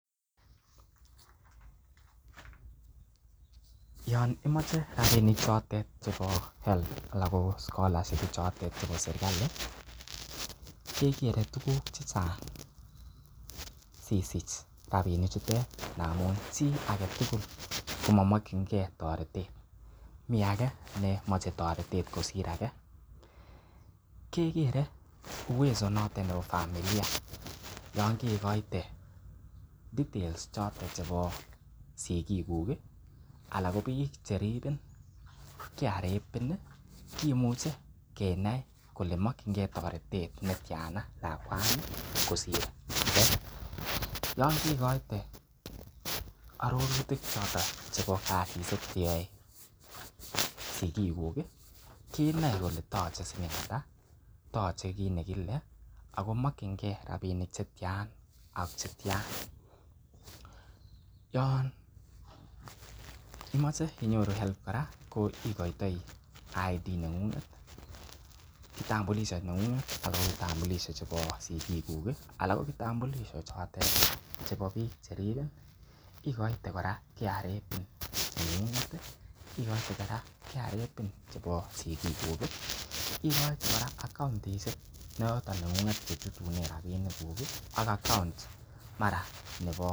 Yon imoche rabinik chotet chebo HALB anan ko scholarship chotet chebo serkali kegere tuugk che chang sisich rabinik chutet ngamun chiage tugul komomokinge toretet. Mi age nemoche toretet kosir age ke kere uwezo notet nebo familia yon kegoite details choto chebo sigikuk ala ko biik che ribin. KRA PIN kimuche kinde kole mokinge toretet netyan lakwani kosir . Yon kegoite arorutik choton chebo kasishek che yoe sigikuk kinoe kole toche siling ata toche kit nekile ago mokinge rabinik che tyan ak che tyan. Yon imoche inyoru HELB kora igoitoi ID neng'ung'et kitambulisho neng'ung'et ak kitambulisho chebo sigikuk anan ko kitambulisho chotet chebo biik che ribin igoite koora KRA PIN neng'ung'et, KRA PIN chebo sigikuk, igoite kora account neng'ng'et nechutunen rabishekuk ak account mara nebo